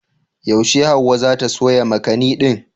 Yaushe Hauwa za ta soya makani din?